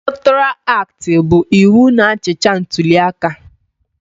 Elektoral aktị bụ iwu na-achịcha ntuliaka.